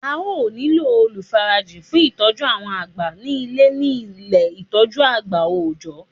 A ó nílò olùfarajìn fun ìtọ́jú àwọn àgbà ní Ilé ní Ilé ìtọ́jú àgbà òòjọ́